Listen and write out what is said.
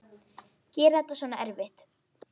Gera þetta svona erfitt.